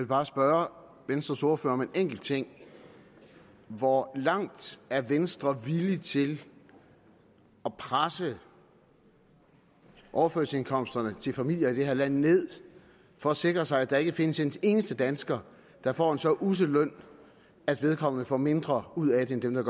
bare spørge venstres ordfører om en enkelt ting hvor langt er venstre villig til at presse overførselsindkomsterne til familier i det her land ned for at sikre sig at der ikke findes en eneste dansker der får en så ussel løn at vedkommende får mindre ud af det end dem der